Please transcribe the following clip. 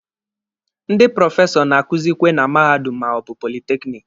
Ndị prọfesọ na-akuzikwe na mahadum ma ọ bụ politekiniki.